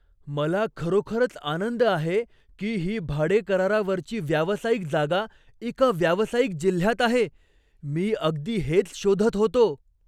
मला खरोखरच आनंद आहे की ही भाडेकरारावरची व्यावसायिक जागा एका व्यावसायिक जिल्ह्यात आहे. मी अगदी हेच शोधत होतो.